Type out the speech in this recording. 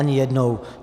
Ani jednou.